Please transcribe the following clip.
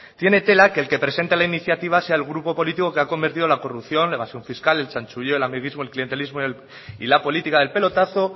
tiene tela que el que presenta la iniciativa sea el grupo político que ha convertido la corrupción la evasión fiscal el chanchulleo el amiguismo el clientelismo y la política del pelotazo